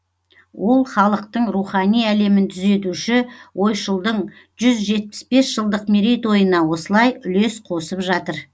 ол халықтың рухани әлемін түзетуші ойшылдың жүз жетпіс бес жылдық мерейтойына осылай үлес қосып жатыр